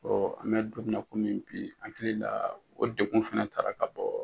an me don min na komi bi , hakili la o degun fɛnɛ taara ka bɔ